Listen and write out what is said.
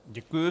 Děkuji.